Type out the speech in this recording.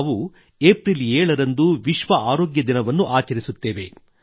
ನಾವು ಏಪ್ರಿಲ್ 7 ರಂದು ವಿಶ್ವ ಆರೋಗ್ಯ ದಿನವನ್ನು ಆಚರಿಸುತ್ತೇವೆ